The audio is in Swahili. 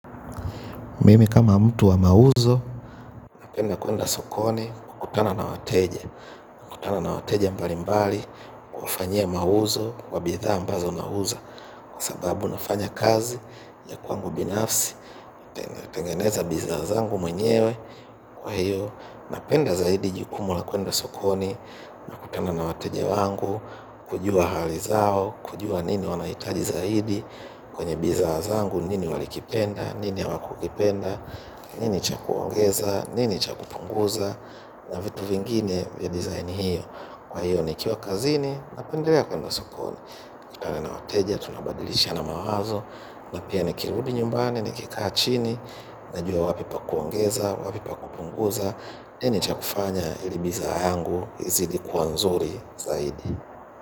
Mimi kama mtu wa mauzo, napenda kwenda sokoni kukutana na wateja. Kukutana na wateja mbali mbali kuwafanyia mauzo wa bidhaa ambazo nauza. Kwa sababu nafanya kazi ya kwangu binafsi, natengeneza bizna zangu mwenyewe kwa hiyo. Napenda zaidi jukumu la kwenda sokoni nakutana na wateja wangu kujua hali zao, kujua nini wanahitaji zaidi kwenye bizna zangu, nini walikipenda, nini hawakukipenda. Nini cha kuongeza, nini cha kupunguza, na vitu vingine vya design hiyo. Kwa hiyo nikiwa kazini napendelea kwenda sokoni. Kutana na wateja, tunabadilishiana mawazo, na pia nikirudi nyumbani nikikaa chini, najua wapi pa kuongeza, wapi pa kupunguza, nini cha kufanya ili bizna yangu izidi kua nzuri zaidi.